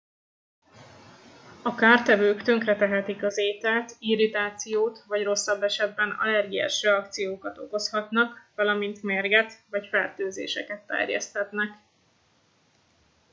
a kártevők tönkretehetik az ételt irritációt vagy rosszabb esetben allergiás reakciókat okozhatnak valamint mérget vagy fertőzéseket terjeszthetnek